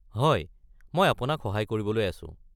হয়, মই অপোনাক সহায় কৰিবলৈ আছো।